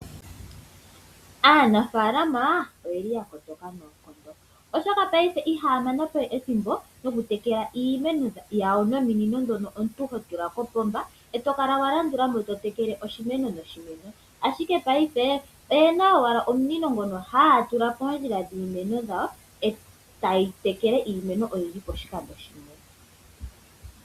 Aanafaalama oyeli yakotoka noonkondo oshoka paife ihaya manapo ethimbo lyokutekela nominino ndhono hotula kopomba eto kala walandulamo oshimeno noshimeno, ashike paife oyena owala omunino ngono hagu tulwa moondjila dhiimeno dhawo, etayi tekele iimeno oyindji poshikando shimwe.